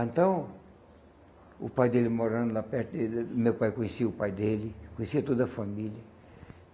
Então, o pai dele morando lá perto, meu pai conhecia o pai dele, conhecia toda a família.